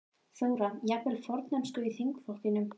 Þóra: Jafnvel formennsku í þingflokknum?